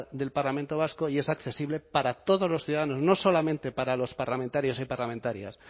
del parlamento vasco y es accesible para todos los ciudadanos no solamente para los parlamentarios y parlamentarias